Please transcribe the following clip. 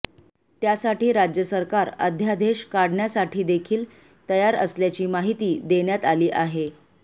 त्यासाठी राज्य सरकार अध्यादेश काढण्यासाठीदेखील तयार असल्याची माहिती देण्यात आली आहे